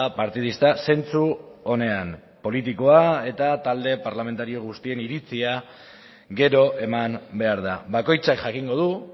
partidista zentzu onean politikoa eta talde parlamentario guztien iritzia gero eman behar da bakoitzak jakingo du